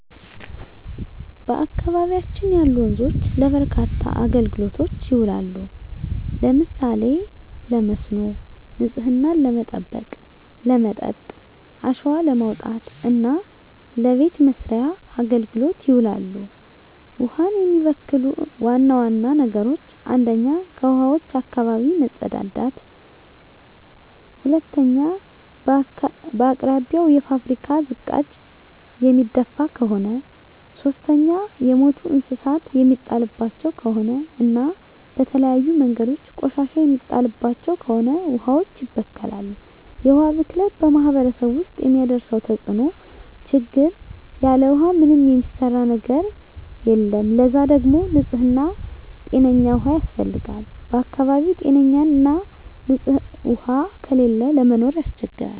በአካባቢያችን ያሉ ወንዞች ለበርካታ አገልግሎቶች ይውላሉ። ለምሳሌ ለመስኖ፣ ንጽህናን ለመጠበቅ፣ ለመጠጥ፣ አሸዋ ለማውጣት እና ለበቤት መሥርያ አገልግሎት ይውላሉ። ውሀን የሚበክሉ ዋና ዋና ነገሮች 1ኛ ከውሀዋች አካባቢ መጸዳዳት መጸዳዳት 2ኛ በአቅራቢያው የፋብሪካ ዝቃጭ የሚደፍ ከሆነ ከሆነ 3ኛ የሞቱ እንስሳት የሚጣልባቸው ከሆነ እና በተለያዩ መንገዶች ቆሻሻ የሚጣልባቸው ከሆነ ውሀዋች ይበከላሉ። የውሀ ብክለት በማህረሰቡ ውስጥ የሚያደርሰው ተጽዕኖ (ችግር) ያለ ውሃ ምንም የሚሰራ ነገር የለም ለዛ ደግሞ ንጽህና ጤነኛ ውሃ ያስፈልጋል በአካባቢው ጤነኛ ና ንጽህ ውሃ ከሌለ ለመኖር ያስቸግራል።